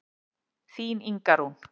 Þín Inga Rún.